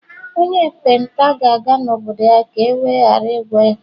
onye ekpenta gāga n'obodo-ya ka ewe ghara igwọ ya